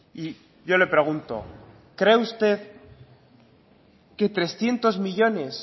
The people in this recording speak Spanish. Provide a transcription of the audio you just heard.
y yo le pregunto cree usted que trescientos millónes